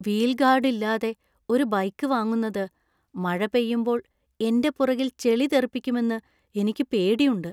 Wheel guard ഇല്ലാതെ ഒരു bike വാങ്ങുന്നത് മഴ പെയ്യുമ്പോൾ എന്‍റെ പുറകിൽ ചെളി തെറിപ്പിക്കുമെന്ന്എനിക്ക് പേടിയുണ്ട്.